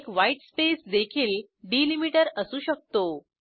एकwhitespace देखील डिलिमीटर असू शकतो